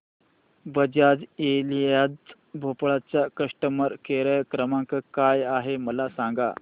Bajaj Allianz Bhopal चा customer care क्रमांक काय आहे मला सांगा